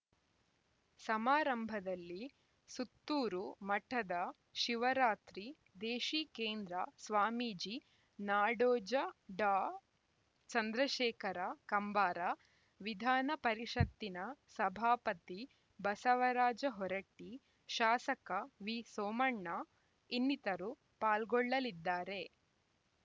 ಸಮಾರಂಭದಲ್ಲಿ ಸುತ್ತೂರು ಮಠದ ಶಿವರಾತ್ರಿ ದೇಶೀಕೇಂದ್ರ ಸ್ವಾಮೀಜಿ ನಾಡೋಜ ಡಾಚಂದ್ರಶೇಖರ ಕಂಬಾರ ವಿಧಾನ ಪರಿಷತ್ತಿನ ಸಭಾಪತಿ ಬಸವರಾಜ ಹೊರಟ್ಟಿ ಶಾಸಕ ವಿಸೋಮಣ್ಣ ಇನ್ನಿತರು ಪಾಲ್ಗೊಳ್ಳಲಿದ್ದಾರೆ